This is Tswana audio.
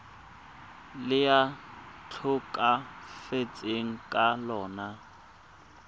le a tlhokafetseng ka lona